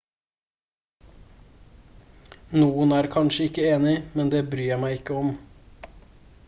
noen er kanskje ikke enig men det bryr jeg meg ikke om